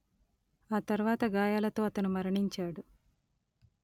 ఆ తర్వాత గాయాలతో అతను మరణించాడు